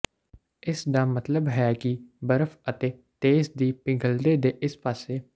ਇਸ ਦਾ ਮਤਲਬ ਹੈ ਕਿ ਬਰਫ਼ ਅਤੇ ਤੇਜ਼ ਦੀ ਪਿਘਲਦੇ ਦੇ ਇਸ ਪਾਸੇ